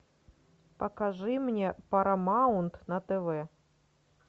покажи мне парамаунт на тв